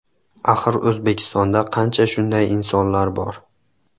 Axir O‘zbekistonda qancha shunday insonlar bor.